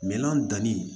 Minan danni